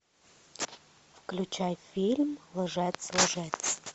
включай фильм лжец лжец